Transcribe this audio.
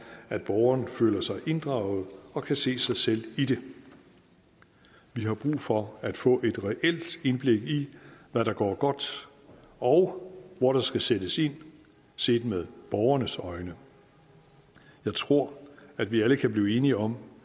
at borgeren føler sig inddraget og kan se sig selv i det vi har brug for at få et reelt indblik i hvad der går godt og hvor der skal sættes ind set med borgernes øjne jeg tror at vi alle kan blive enige om